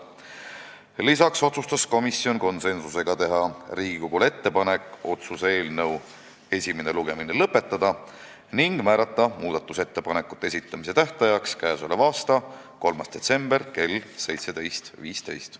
Lisaks otsustas komisjon konsensusega teha Riigikogule ettepaneku otsuse eelnõu esimene lugemine lõpetada ning määrata muudatusettepanekute esitamise tähtajaks k.a 3. detsember kell 17.15.